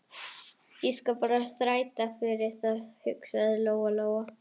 Ég skal bara þræta fyrir það, hugsaði Lóa-Lóa.